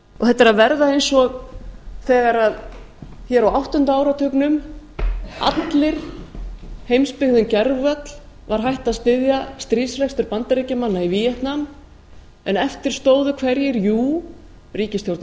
þetta er að verða eins og hér á áttunda áratugnum allir heimsbyggðin gervöll var hætt að styðja stríðsrekstur bandaríkjamanna í vek nam en eftir stóðu hverjir jú ríkisstjórn